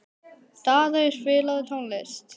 Daðey, spilaðu tónlist.